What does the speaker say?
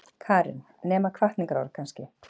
Karen: Nema hvatningarorð kannski?